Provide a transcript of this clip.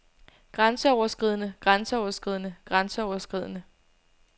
grænseoverskridende grænseoverskridende grænseoverskridende